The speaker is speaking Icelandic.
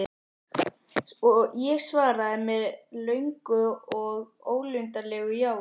Ég svaraði með löngu og ólundarlegu jái.